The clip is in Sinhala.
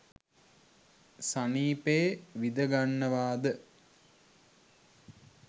සනීපේ විඳ ගන්නවාද